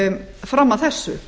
fram að þessu